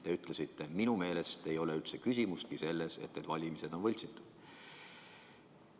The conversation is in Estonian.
Te ütlesite: "Minu meelest ei ole üldse küsimustki selles, et need valimised on võltsitud.